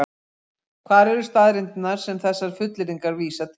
Hvar eru staðreyndirnar sem þessar fullyrðingar vísa til?